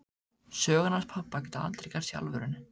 Sögurnar hans pabba geta aldrei gerst í alvörunni.